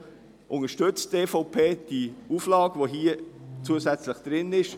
Deshalb unterstützt die EVP die Auflage, die hier zusätzlich steht.